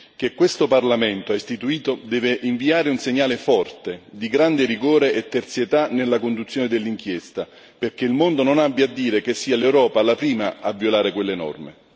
che questo Parlamento ha istituito deve inviare un segnale forte, di grande rigore e terzietà, nella conduzione dell'inchiesta, perché il mondo non abbia a dire che è l'Europa la prima a violare quelle norme.